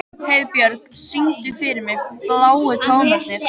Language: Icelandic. Heiðbjörk, syngdu fyrir mig „Bláu tónarnir“.